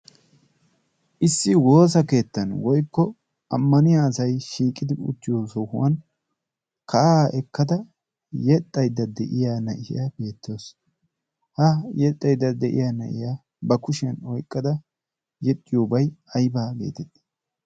issi woosa keettan woykko ammaniya asay shiiqidi icchiyo sohuwan ka'aa ekkada yexxaydda de'iya na'iya beettoosona. ha yexxaydda de'iya na'iya ba kushiyan oiqqada yexxiyoobay aybaa geetettees.